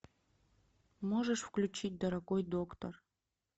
можешь включить дорогой доктор